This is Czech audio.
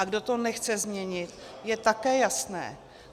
A kdo to nechce změnit, je také jasné.